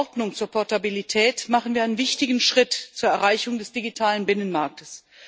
Mit der Verordnung zur Portabilität machen wir einen wichtigen Schritt zur Verwirklichung des digitalen Binnenmarktes.